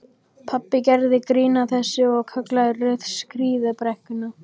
Pabbi gerði grín að þessu og kallaði Ruth skíðabrekkuna.